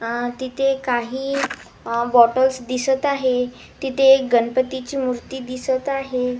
अ तिथे काही अ बॉटल्स दिसत आहे तिथे एक गणपतीची मूर्ती दिसत आहे.